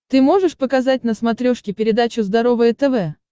ты можешь показать на смотрешке передачу здоровое тв